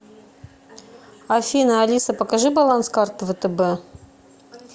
афина алиса покажи баланс карты втб